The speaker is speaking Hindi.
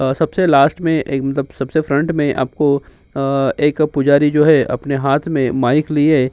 अ सबसे लास्ट में एक मतलब सबसे फ्रंट में आपको अ एक पुजारी जो है अपने हाथ में माइक लिए --